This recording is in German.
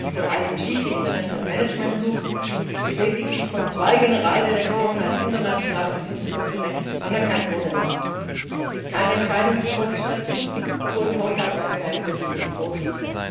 Das Gleiche gilt für IMG, die International Management Group, die lediglich von zwei Generaldirektionen als international im Sinn des Völkerrechts anerkannt wurde. Es gibt keine Entscheidung des Kollegiums dazu, obwohl die Haushaltsordnung einen solchen Weg vorsieht.